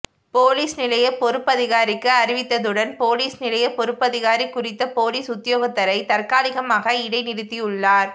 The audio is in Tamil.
பொலிஸ் நிலைய பொறுப்பதிகாரிக்கு அறிவித்ததுடன் பொலிஸ் நிலைய பொறுப்பதிகாரி குறித்த பொலிஸ் உத்தியோகத்தரை தற்காலிகமாக இடைநிறுத்தியுள்ளார்